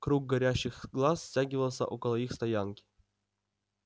круг горящих глаз стягивался около их стоянки